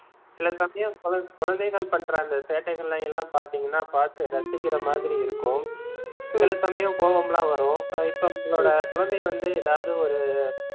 சில சமயம் குழ~ குழந்தைகள் பண்ற அந்த சேட்டைகளையெல்லாம் பாத்தீங்கன்னா பார்த்து ரசிக்கிற மாதிரி இருக்கும். சில சமயம் கோவம்லாம் வரும் இப்போ உங்களோட குழந்தை வந்து ஏதாவது ஒரு